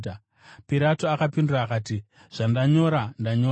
Pirato akapindura akati, “Zvandanyora, ndanyora.”